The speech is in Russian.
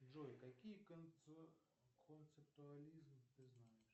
джой какие концептуализм ты знаешь